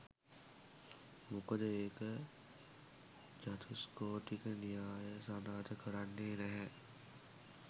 මොකද ඒක චතුස්කෝටික න්‍යාය සනාත කරන්නේ නැහැ.